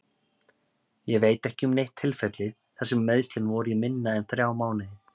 Ég veit ekki um neitt tilfelli þar sem meiðslin voru í minna en þrjá mánuði.